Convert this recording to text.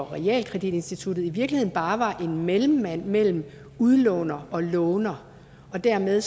realkreditinstitutter i virkeligheden bare var en mellemmand mellem udlåner og låner og dermed